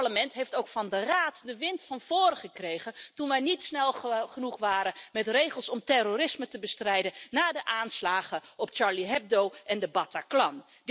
Dit Parlement heeft ook van de Raad de wind van voren gekregen toen wij niet snel genoeg waren met regels om terrorisme te bestrijden na de aanslagen op Charlie Hebdo en de Bataclan.